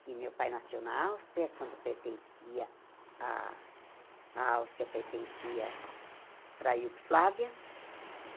que meu pai nasceu na Áustria, quando pertencia a a Áustria pertencia para a Iugoslávia.